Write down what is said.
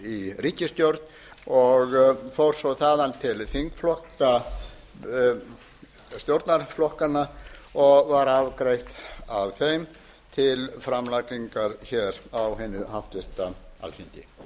í ríkisstjórn og fór svo þaðan til þingflokka stjórnarflokkanna og var afgreitt af þeim til framlagningar á hinu háttvirta